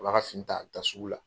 A b'a ka fini ta, a bɛ taa sugu la.